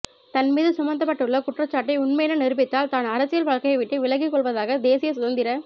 தன்மீது சுமத்தப்பட்டுள்ள குற்றச்சாட்டை உண்மையென நிரூபித்தால் தான் அரசியல் வாழ்க்கையை விட்டு விலகிக் கொள்வதாக தேசிய சுதந்திர